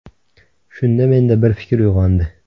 Shunda menda bir fikr uyg‘ondi.